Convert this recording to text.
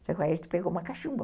Só que aí a gente pegou uma cachumba.